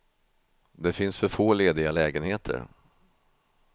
Det finns för få lediga lägenheter.